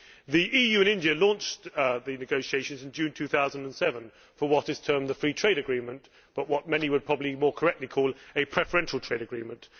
The EU and India launched negotiations in June 2007 on what is termed a free trade agreement, but what many would probably more correctly call a preferential trade agreement.